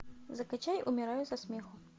закачай умираю со смеху